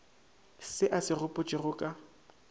se a se gopotšego ka